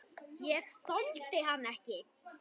Ég þoldi hann ekki.